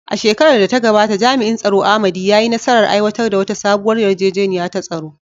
A shekarar da ta gabata, jami’in tsaro Amadi, ya yi nasarar aiwatar da wata sabuwar yarjejeniya ta tsaro.